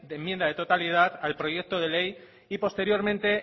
enmienda de totalidad al proyecto de ley y posteriormente